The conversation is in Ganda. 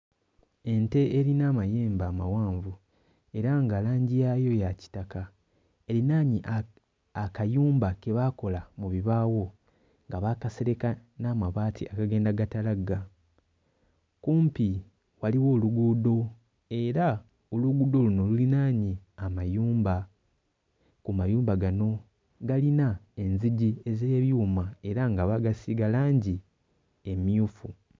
Ente erina amayembe amawanvu era nga langi yaayo ya kitaka erinaanye a... akayumba ke baakola mu bibaawo nga baakasereka n'amabaati agagenda gatalagga. Kumpi waliwo oluguudo era oluguudo luno lulinaanye amayumba. Ku mayumba gano galina enzigi ez'ebyuma era nga baagasiiga langi emmyufu.